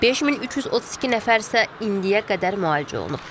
5332 nəfər isə indiyə qədər müalicə olunub.